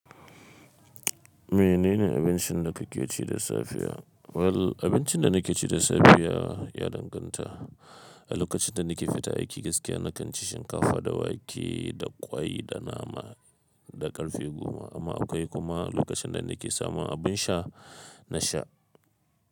Menene abincin da kake ci da safiya? Well, abincin da nake ci da safiya ya danganta. A lokacin da nake fita aiki gaskiya, na kan ci shinkafa da wake da ƙwai da nama da ƙarfe goma. Amma akwai kuma lokacin da nake samun abin sha, na sha.